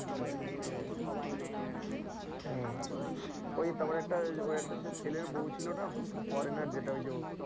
আর ওই তারপরে একটা ওর একটা সে ছেলের বউ ছিল না foreigner যেটা ওই যে,